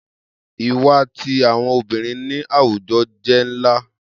Iwa ti awọn obirin ni awujọ jẹ nla